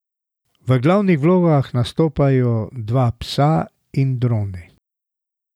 V glavnih vlogah nastopajo dva psa in droni.